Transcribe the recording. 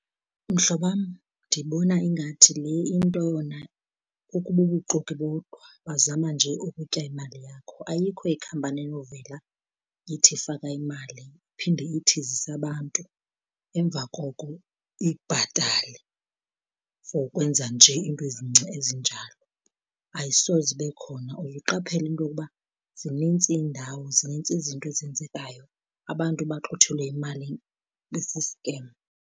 Mhlobam, ndibona ingathi le into yona ibubuxoki bodwa bazama nje ukutya imali yakho. Ayikho ikhampani enovela ithi faka imali iphinde ithi zisa abantu emva koko ikubhatale for ukwenza nje iinto ezincinci ezinjalo, ayisoze ibe khona. Uzuqaphele into yokuba zinintsi iindawo, zinintsi izinto ezenzekayo abantu baxuthelwe imalini ibe siskemu.